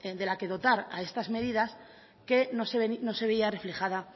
de la que dotar a estas medidas que no se veía reflejada